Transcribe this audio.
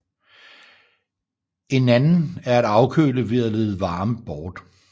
En anden er at afkøle ved at lede varme bort